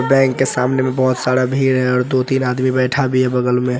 bank के सामने में बहुत सारा भीड़ है और दो-तीन आदमी बैठा भी है बगल में |